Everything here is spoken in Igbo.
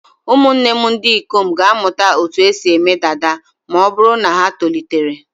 Ụmụ m ndị ikom ga-amụta otú e si eme dada ma ọ bụrụ na ha tolitere.